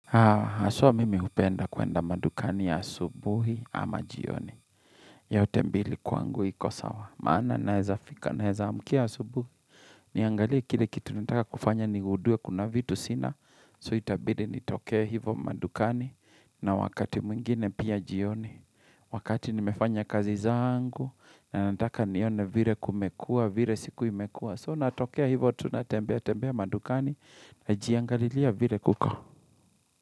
Haswa mimi hupenda kwenda madukani ya subuhi ama jioni yote mbili kwangu iko sawa maana naweza fika, nawezaamkia asubuhi Niangaliye kile kitu nataka kufanya nigudue kuna vitu sina So itabili nitokea hivo madukani na wakati mwingine pia jioni Wakati nimefanya kazi zangu na nataka nione vire kumekuwa, vire siku imekua So natokea hivo tunatembea, tembea madukani na jiangalilia vire kuko.